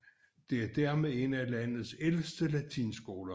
Den er dermed en af landets ældste latinskoler